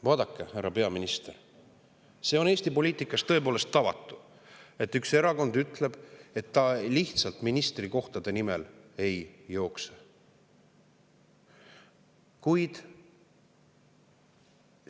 " Vaadake, härra peaminister, see on Eesti poliitikas tõepoolest tavatu, et üks erakond ütleb, et ta lihtsalt ministrikohtade nimel ei jookse.